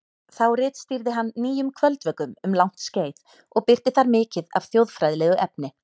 Þá ritstýrði hann Nýjum kvöldvökum um langt skeið og birti þar mikið af þjóðfræðilegu efni.